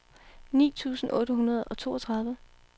ni tusind otte hundrede og toogtredive